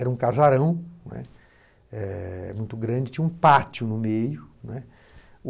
Era um casarão, né, é... muito grande, tinha um pátio no meio, né.